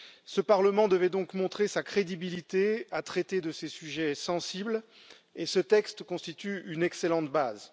Ce Parlement devait donc montrer sa crédibilité à traiter de ces sujets sensibles et ce texte constitue une excellente base.